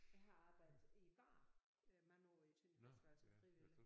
Jeg har arbejdet i baren øh mange år i Tønder festival som frivillig